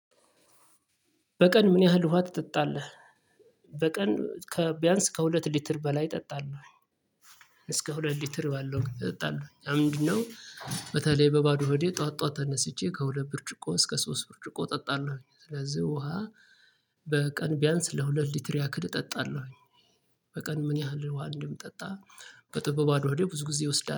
በቀን ምን ያህል ውሃ ትጠጣለህ? በቀን ከቢያንስ ከሁለት ሊትር በላይ እጠጣለሁ። እስከ ሁለት ሊትር ባለው እጠጣለሁ ያ ምንድነው? በተለይ በባዶ ሆዴ ጠዋት ጠዋት ተነስቼ ከሁለት ብርጭቆ እስከ ሶስት ብርጭቆ እጠጣለሁኝ። ስለዚህ ውሃ። በቀን ቢያንስ ለሁለት ሊትር ያክል እጠጣለሁኝ። በቀን ምን ያህል ውሃ እንደምጠጣ? በጥበብ በባዶ ሆዴ ብዙ ጊዜ እወስዳለሁ